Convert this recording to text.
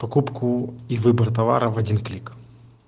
покупку и выбор товара в один клик